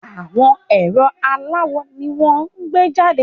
Àwọn ẹ̀rọ aláwò ni wọ́n ó gbé jàde